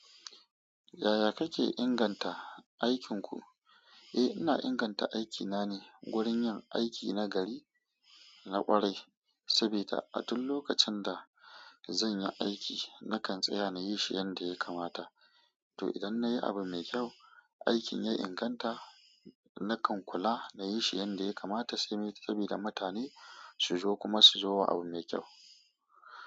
Yaya kake inganta aikinku? Eh, ina inganta aikina ne wurin yin aiki na gari, na ƙwarai, sabida a duk lokacin da zan yi aiki, nakan tsaya na yi shi yanda ya kamata. To idan na yi abu mai kyau, aikin ya inganta, nakan kula na yi shi yanda ya kamata sai me, sabida mutane su zo kuma su zo wa abu mai kyau.